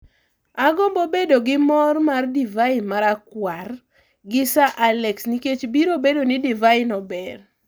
Agombo bedo gi mor mar divai marakwar gi sir Alex nikech biro bedo ni divai no ber.